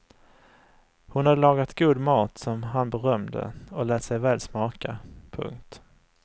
Hon hade lagat god mat som han berömde och lät sig väl smaka. punkt